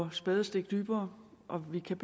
et spadestik dybere og vi kan